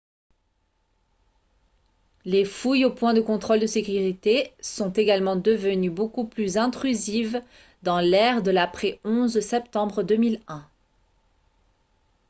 les fouilles aux points de contrôle de sécurité sont également devenues beaucoup plus intrusives dans l’ère de l’après-11 septembre 2001